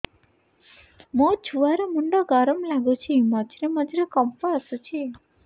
ମୋ ଛୁଆ ର ମୁଣ୍ଡ ଗରମ ଲାଗୁଚି ମଝିରେ ମଝିରେ କମ୍ପ ଆସୁଛି